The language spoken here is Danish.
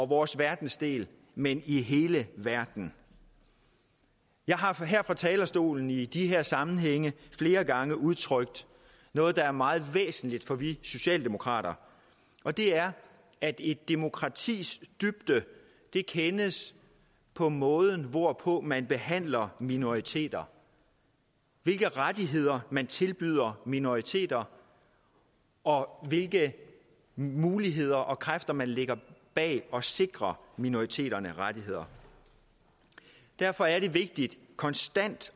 vores verdensdel men i hele verden jeg har her fra talerstolen i disse sammenhænge flere gange udtrykt noget der er meget væsentligt for vi socialdemokrater og det er at et demokratis dybde kendes på måden hvorpå man behandler minoriteter hvilke rettigheder man tilbyder minoriteter og hvilke muligheder og kræfter man lægger bag at sikre minoriteterne rettigheder derfor er det vigtigt konstant